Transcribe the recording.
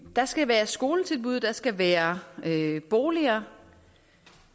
der skal være skoletilbud der skal være boliger